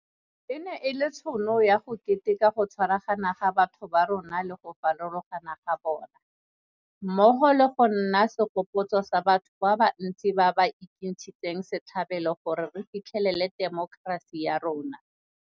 E ne e le tšhono ya go keteka go tshwaragana ga batho ba rona le go farologana ga bona, mmogo le go nna segopotso sa batho ba ba ntsi ba ba ekentshitseng setlhabelo gore re fitlhelele temokerasi ya rona.